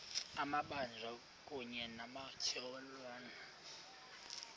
amabanjwa kunye nabatyholwa